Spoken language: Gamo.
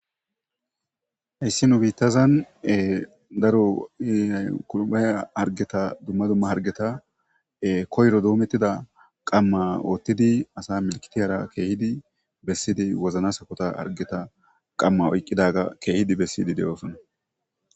Hayssi nu biittazan daro iihay kulbaya argeta dumma dumma hargeta koyro doomettida qamma oottidi asa milkitiyara keehidi bessidi wozna sakota argeta qamma oyqqidaga keehidi bessidi de7oosonna.